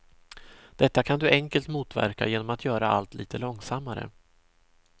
Detta kan du enkelt motverka genom att göra allt lite långsammare.